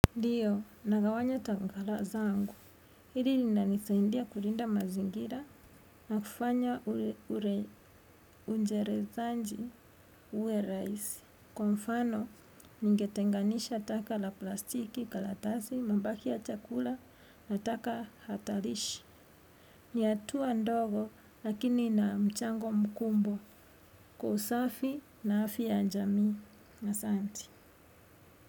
Ndiyo, nagawanya tangala zangu. Hili nina nisaindia kulinda mazingira na kufanya ure unjerezanji uwe raisi. Kwa mfano, ningetenganisha taka la plastiki kalatasi, mambaki ya chakula na taka hatalishi. Ni atuwa ndogo lakini na mchango mkumbwa kwa usafi na afya ya njamii na santi.